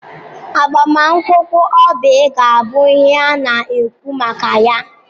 Agbamakwụkwọ Oby ga-abụ ihe a na-ekwu maka ya.